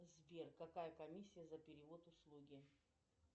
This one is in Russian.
сбер какая комиссия за перевод услуги